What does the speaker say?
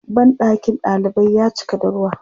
Banɗakin ɗalibai ya cika da ruwa.